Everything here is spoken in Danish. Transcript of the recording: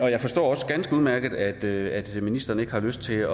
jeg forstår også ganske udmærket at ministeren ikke har lyst til